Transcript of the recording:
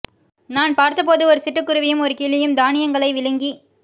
நான் பார்த்தபோது ஒரு சிட்டுக் குருவியும் ஒரு கிளியும் தானியங்களை விழுங்கிக்